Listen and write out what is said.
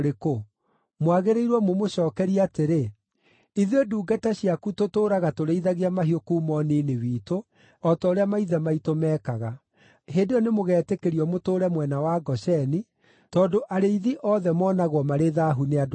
mwagĩrĩirwo mũmũcookerie atĩrĩ, “Ithuĩ ndungata ciaku tũtũũraga tũrĩithagia mahiũ kuuma ũnini witũ, o ta ũrĩa maithe maitũ meekaga.” Hĩndĩ ĩyo nĩmũgetĩkĩrio mũtũũre mwena wa Gosheni, tondũ arĩithi othe moonagwo marĩ thaahu nĩ andũ a Misiri.